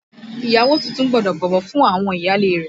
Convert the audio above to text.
Ìyàwó tuntun gbọ́dọ̀ bọ̀wọ̀ fún àwọn ìyáálé rẹ̀